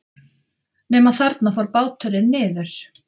Nema þarna fór báturinn niður.